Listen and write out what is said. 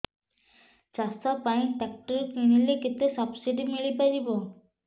ଚାଷ ପାଇଁ ଟ୍ରାକ୍ଟର କିଣିଲେ କେତେ ସବ୍ସିଡି ମିଳିପାରିବ